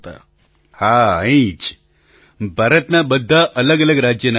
પ્રધાનમંત્રી હા અહીં જ ભારતનાં બધાં અલગઅલગ રાજ્યનાં હતાં